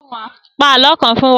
Pa àlọ́ kan fún wa!